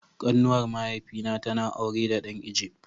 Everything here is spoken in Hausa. Kanuwar mahaifi na ta na da aure da dan "Egypt".